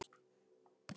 Þín, Karen Ósk.